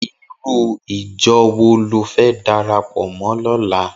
Irú ijò wó ló fè dàrápò mò lòlá?